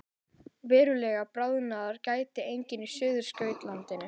Verulegrar bráðnunar gætir einnig á Suðurskautslandinu